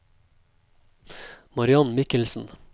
Mariann Mikkelsen